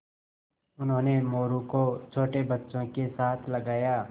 उन्होंने मोरू को छोटे बच्चों के साथ लगाया